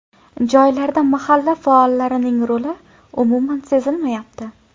Joylarda mahalla faollarining roli umuman sezilmayapti.